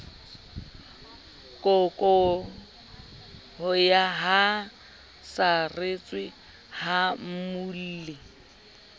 kokoroha a saretswe ha mmuelli